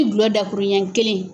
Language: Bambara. I gulɔ dakuru ɲɛ kelen.